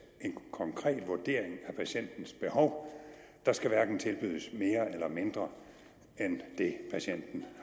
er en konkret vurdering af patientens behov der skal hverken tilbydes mere eller mindre end det patienten